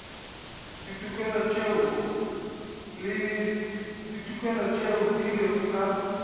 ditokelo tšeo di lego ka